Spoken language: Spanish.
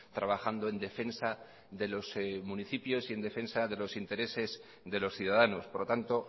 trabajando en defensa de los municipios y en defensa de los intereses de los ciudadanos por lo tanto